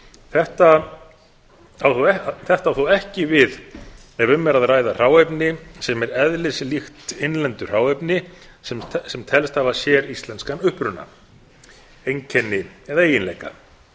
þetta á þó ekki við ef um er að ræða hráefni sem er eðlislíkt innlendu hráefni sem telst hafa séríslenskan uppruna einkenni eða eiginleika